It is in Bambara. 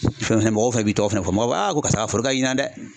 Fɛn fɛn mɔgɔw fɛnɛ bi i tɔgɔ fana fɔ mɔgɔ karisa ka foro ka ɲi ɲina dɛ.